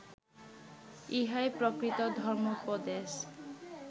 ইহাই প্রকৃত ধর্ম্মোপদেশ